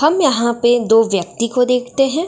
हम यहाँ पे दो व्यक्ति को देखते हैं।